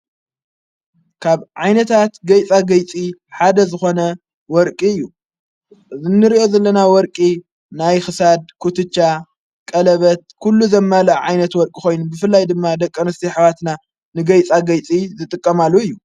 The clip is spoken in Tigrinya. ካብ ዓይነታት ገይጻ ገይጺ ሓደ ዝኾነ ወርቂ እዩ እዘ ንርእኦ ዘለና ወርቂ ናይ ኽሳድ ኲትጫ ቀለበት ኲሉ ዘማል ዓይነት ወርቂ ኾይኑ ብፍላይ ድማ ደቀንስቲ ኅዋትና ንገይፃ ገይጺ ዝጥቀማሉ እዩ::